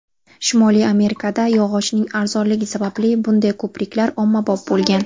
Shimoliy Amerikada yog‘ochning arzonligi sababli bunday ko‘priklar ommabop bo‘lgan.